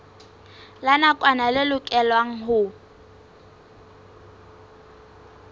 la nakwana le lokelwang ho